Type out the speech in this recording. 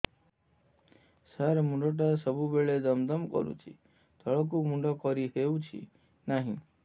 ସାର ମୁଣ୍ଡ ଟା ସବୁ ବେଳେ ଦମ ଦମ କରୁଛି ତଳକୁ ମୁଣ୍ଡ କରି ହେଉଛି ନାହିଁ